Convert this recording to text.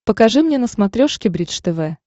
покажи мне на смотрешке бридж тв